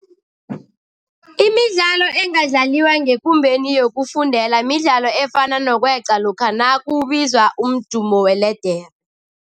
Imidlalo engadlaliwa ngekumbeni yokufundela midlalo efana nokweqa lokha nakubizwa umdumo weledere.